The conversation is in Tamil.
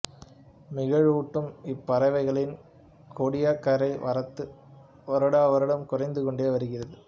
மகிழ்வூட்டும் இப்பறவைகளின் கோடியக்கரை வரத்து வருடாவருடம் குறைந்து கொண்டே வருகிறது